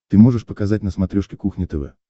ты можешь показать на смотрешке кухня тв